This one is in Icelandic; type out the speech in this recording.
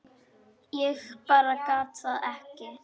Ég bara gat það ekki.